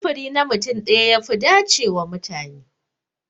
Sufuri na mutum daya ya fi dace wa mutane.